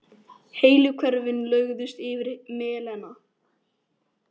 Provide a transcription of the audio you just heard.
Heilu hverfin lögðust yfir melana.